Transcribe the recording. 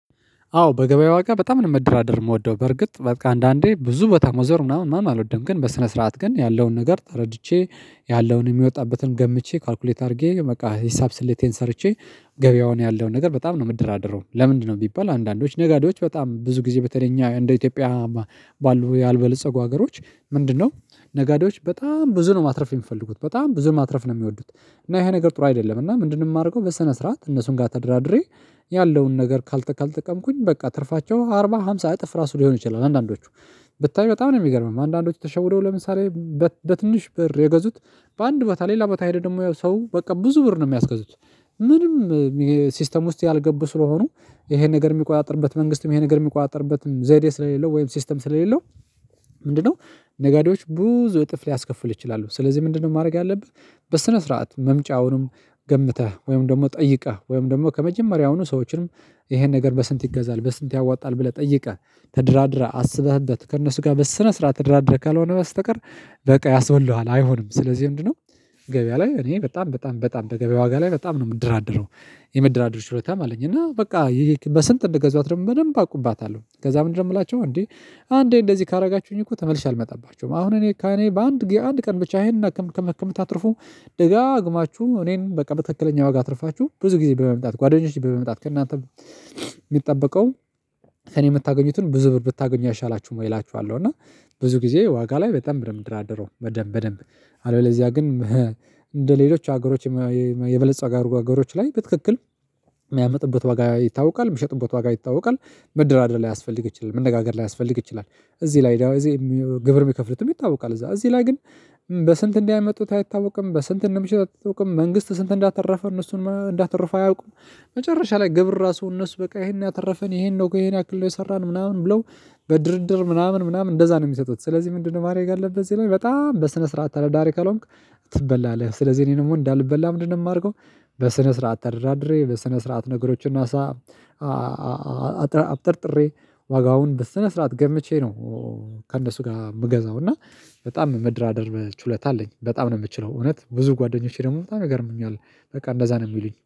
አዎ በገበያ ዋጋ በጣም ነው መደራደር የምወደው በርግጥ በቃ አንዳንዴ ብዙ ቦታ መዞር ምናምን ማን አልወደም ግን በስነ ስርዓት ግን ያለውን ነገር ተረድቼ ያለውን የሚወጣበትን ገምቼ ካልኩሌት አድርጌ በቃ ሂሳብ ስሌቴን ሰርቼ ገበያውን ነገር በጣም ነው የምደራደረው። ለምንድነው ቢባል አንዳንዶች ነጋዴዎች በጣም ብዙ ጊዜ በተለይ እኛ እንደ ኢትዮጵያ። ባሉ ያልበለጸጉ ሀገሮች ምንድነው? ነጋዴዎች በጣም ብዙ ነው ማትረፍ የሚፈልጉት በጣም ብዙ ማትረፍ ነው የሚወዱት። እና ይሄ ነገር ጥሩ አይደለም። እና ምንድን የማደርገው በሰነ ስርዓት እነሱን ጋር ተደራድሬ። ያለውን ነገር ካልተቀመኩኝ በቃ ትርፋቸው አርባ ሃምሳ እጥፍ ራሱ ሊሆን ይችላል። አንዳንዶቹ ብታይ በጣም ነው የሚገርመኝ አንዳንዶቹ ተሸወደው ለምሳሌ። በትንሽ ብር የገዙት በአንድ ቦታ ሌላ ቦታ ሄደ ደግሞ ያው ሰው በቃ ብዙ ብር ነው የሚያስገዙት። ምንም ሲስተም ውስጥ ያልገቡ ስለሆኑ ይሄ ነገር የሚቆጣጥርበት መንግስትም ይሄን ነገር የሚቆጣጥርበትም ዘይዴ ስለሌለው ወይም ሲስተም ስለሌለው። ምንድነው? ነጋዴዎች ብዙ እጥፍ ሊያስከፍሉ ይችላሉ ስለዚህ ምንድነው ማድረግ ያለብህ? በስነ ስርዓት መምጫውንም ገምተህ ወይም ደግሞ ጠይቀህ ወይም ደግሞ ከመጀመሪያውኑ ሰዎችንም ይሄን ነገር በስንት ይገዛል በስንት ያዋጣል ብለህ ጠይቀህ። ተደራደራህ አስበህበት ከእነሱ ጋር በስነ ስርዓት ተደራደረህ ካልሆነ በስተቀር። በቃ ያስብሉሃል አይሆንም ስለዚህ ምንድነው? ገበያ ላይ እኔ በጣም በጣም በጣም በገበያ ዋጋ ላይ በጣም ነው የምድራደረው። የመደራደሮ ችሎታም አለኝ። እና በቃ በስንት እንደገዛሁት ደግሞ በደንብ አውቅባታለሁ። ከዛ ምንድነው የምላቸሁ እንዴ? አንዴ እንደዚህ ካደረጋችሁኝ እኮ ተመልሼ አልመጣባቸውም። አሁን እኔ ከእኔ በአንድ የአንድ ቀን ብቻ ይሄን ከምታተርፉ። ደጋግማችሁ እኔን በቃ በትክክለኛ ዋጋ አትርፋችሁ ብዙ ጊዜ በመምጣት ጓደኞቼ በመምጣት ከእናንተ። የሚጠበቀው እኔ የምታገኙትን ብዙ ብር ብታገኙ አይሻላችሁም ወይ? እላችኋለሁ እና ብዙ ጊዜ ዋጋ ላይ በጣም በደንብ ነው የምደራደረው በደንብ በደንብ። አለበለዚያ ግን። እንደ ሌሎች ሀገሮች የበለፀጉ ሀገሮች ላይ በትክክል የሚያመጡበት ዋጋ ይታወቃል የሚሸጡበት ዋጋ ይታወቃል። መደራደር ላይያስፈልግ ይችላል መነጋገር ላይያስፈልግ ይችላል። እዚህ ላይ ደግሞ እዚህ ግብር የሚከፍሉትም ይታወቃል እዛ እዚህ ላይ ግን። በስንት እንዳመጡት አይታወቅም በስንት እንደሚሸጡ አይታወቅም መንግስት ስንት እንዳተረፈ እነሱን እንዳተረፉ አያውቁም። መጨረሻ ላይ ግብር ራሱ እነሱ በቃ ይሄን ያህል አተረፈን ይሄን ነው ይሄን ያክል ነው የሰራን ምናምን ብለው። በድርድር ምናምን ምናምን እንደዛ ነው የሚሰጡት። ስለዚህ ምንድነው ማድረግ ያለብህ እዚህ ላይ በጣም በስነ ስርዓት ተዳራዳሪ ካልሆንክ። ትበላለህ ስለዚህ እኔ ደግሞ እንዳልበላ ምንድነው የማደርገው? በስነ ስርዓት ተደራድሬ በስነ ስርዓት ነገሮችን አሳ። አብጠርጥሬ ዋጋውን በስነ ስርዓት ገምቼ ነው። ከእነሱ ጋር የምገዛው። እና በጣም መደራደር ችሎታ አለኝ በጣም ነው የምችለው። እውነት ብዙ ጓደኞቼ ደግሞ በጣም ይገርሙኛል። በቃ እንደዛ ነው የሚሉኝ